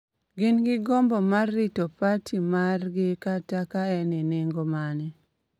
gin gi gombo mar rito parti margi kata ka en e nengo mane,